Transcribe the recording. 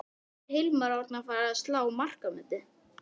Er Hilmar Árni að fara að slá markametið?